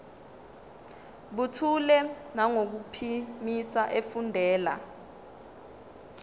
buthule nangokuphimisa efundela